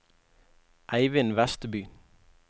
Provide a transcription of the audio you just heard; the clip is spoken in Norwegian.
Eivind Westby